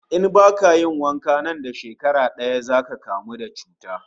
In baka yi wanka ba nan da shekara daya zaka kamu da cuta